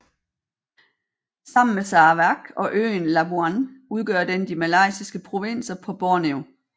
Sammen med Sarawak og øen Labuan udgør den de malaysiske provinser på Borneo